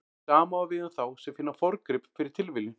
Sama á við um þá sem finna forngrip fyrir tilviljun.